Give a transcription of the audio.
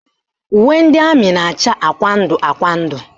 Uwe ndị amị na-acha akwụkwọ ndụ akwụkwọ ndụ